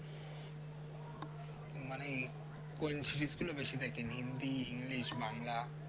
মানে কোন series গুলো বেশি দেখেন হিন্দি english বাংলা